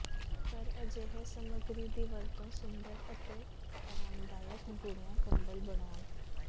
ਪਰ ਅਜਿਹੇ ਸਮੱਗਰੀ ਦੀ ਵਰਤੋ ਸੁੰਦਰ ਅਤੇ ਆਰਾਮਦਾਇਕ ਬੁਣਿਆ ਕੰਬਲ ਬਣਾਉਣ